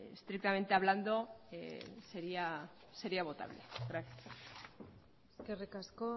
estrictamente hablando sería votable gracias eskerrik asko